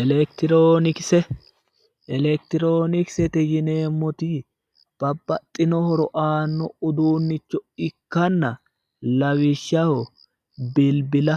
electiroonikise electiroonikisete yineemmoti babbaxino horo aanno uduunnicho ikkanna lawishshaho bilbila